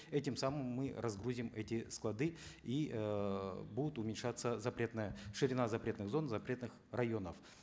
этим самым мы разгрузим эти склады и эээ будет уменьшаться запретная ширина запретных зон запретных районов